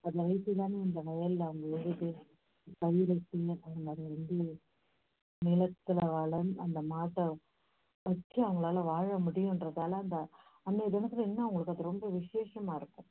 அந்த மாட்டை வச்சி அவங்களால வாழ முடியுங்கறதால அந்த அன்னைய தினத்துல ரொம்ப விஷேசமா இருக்கும்